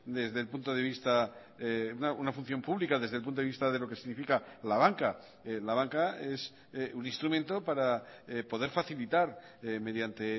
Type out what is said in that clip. desde el punto de vista una función pública desde el punto de vista de lo que significa la banca la banca es un instrumento para poder facilitar mediante